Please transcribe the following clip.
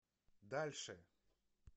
дальше